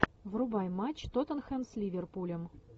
врубай матч тоттенхэм с ливерпулем